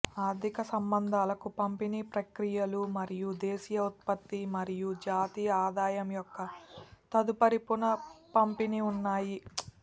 ఆర్థిక సంబంధాలకు పంపిణీ ప్రక్రియలు మరియు దేశీయ ఉత్పత్తి మరియు జాతీయ ఆదాయం యొక్క తదుపరి పునఃపంపిణీ ఉన్నాయి